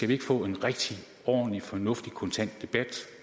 vi får en rigtig ordentlig fornuftig og kontant debat